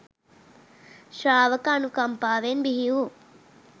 ශ්‍රාවක අනුකම්පාවෙන් බිහිවූ